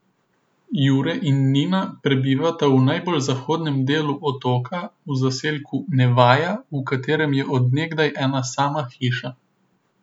Jure in Nina prebivata na najbolj zahodnem delu otoka v zaselku Nevaja, v katerem je od nekdaj ena sama hiša.